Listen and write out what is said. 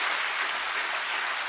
peace be upon you.